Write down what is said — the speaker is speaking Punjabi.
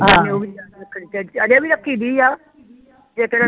ਅਜੇ ਵੀ ਰੱਖੀ ਦੀ ਵਾ ਤੇ ਕਿਹੜਾ